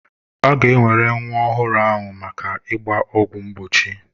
A ga-ewere nwa ọhụrụ ahụ maka ịgba ọgwụ mgbochi.